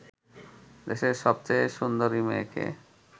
দেশের সবচেয়ে সুন্দরী মেয়েকে